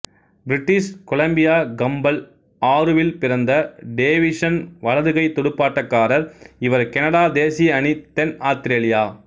British Columbia Campbell ஆறுவில் பிறந்த Davison வலதுகை துடுப்பாட்டக்காரர் இவர்கனடா தேசிய அணி தென் ஆத்திரேலியா